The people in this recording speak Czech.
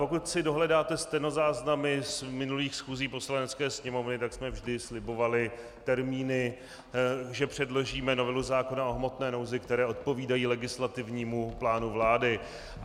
Pokud si dohledáte stenozáznamy z minulých schůzí Poslanecké sněmovny, tak jsme vždy slibovali termíny, že předložíme novelu zákona o hmotné nouzi, které odpovídají legislativnímu plánu vlády.